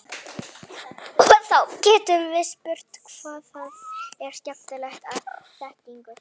Og þá getum við spurt hvað það er sem einkennir þekkingu.